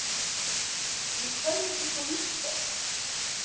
Í hverju bjuggu víkingar?